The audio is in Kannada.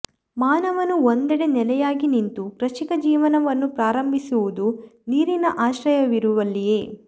ಮಾನವನು ಒಂದೆಡೆ ನೆಲೆಯಾಗಿ ನಿಂತು ಕೃಷಿಕ ಜೀವನವನ್ನು ಪ್ರಾರಂಭಿಸಿರುವುದು ನೀರಿನ ಆಶ್ರಯವಿರುವಲ್ಲಿಯೇ